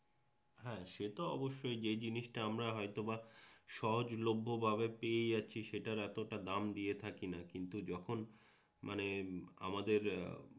হ্যাঁ সে তো অবশ্যই যে জিনিসটা আমরা হয়তোবা সহজলভ্য ভাবে পেয়ে যাচ্ছি সেটার এতটা দাম দিয়ে থাকিনা কিন্তু যখন মানে আমাদের